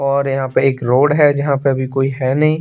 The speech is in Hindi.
और यहाँ पर एक रोड है जहाँ पर अभी कोई है नहीं।